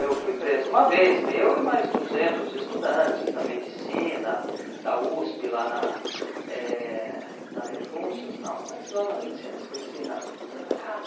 Eu fui preso uma vez, eu e mais duzentos estudantes na medicina, da USP lá na eh na Rebouças, não, mas lá na medicina, esqueci, na... Santa Casa.